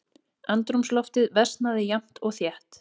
Andrúmsloftið versnaði jafnt og þétt.